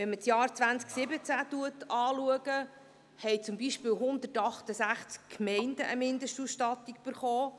Wenn man das Jahr 2017 betrachtet, haben zum Beispiel 168 Gemeinden eine Mindestausstattung erhalten.